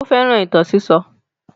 Ó fẹ́ràn ìtàn sísọ.